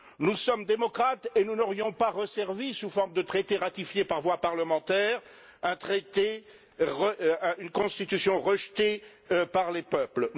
Nous sommes démocrates et nous n'aurions pas resservi, sous forme de traité ratifié par voie parlementaire, une Constitution rejetée par les peuples.